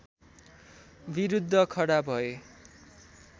विरुद्ध खडा भए